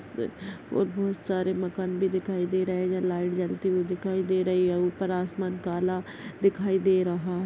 इश बहुत सारे मकान भी दिखाई दे रहा है लाइट जलती हुए दिखाई दे रही है ऊपर आसमान काला दिखाई दे रहा --